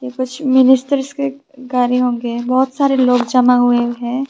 कुछ मिनिस्टर्स के गाड़ी होंगे बहोत सारे लोग जमा हुए है।